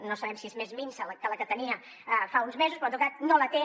no sabem si és més minsa que la que tenia fa uns mesos però en tot cas no la té